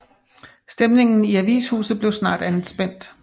Stemningen i avishuset blev snart anspændt